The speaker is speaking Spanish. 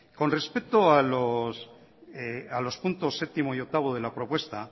con respecto a los puntos séptimo y octavo de la propuesta